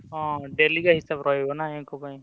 ହଁ daily ହିସାବ ରହିବ ନା ୟାଙ୍କ ପାଇଁ।